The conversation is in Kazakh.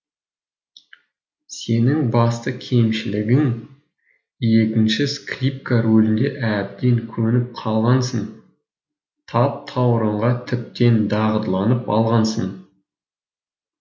сенің басты кемшілігің екінші скрипка рөліне әбден көніп қалғансың таптауырынға тіптен дағдыланып алғансың